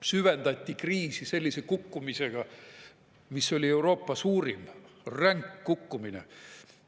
Süvendati kriisi sellise kukkumisega, mis oli Euroopa suurim, ränk kukkumine.